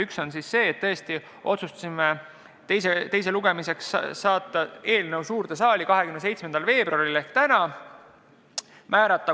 Üks oli, et me otsustasime eelnõu teisele lugemisele suurde saali saata 27. veebruariks ehk tänaseks.